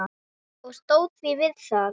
Og stóð við það.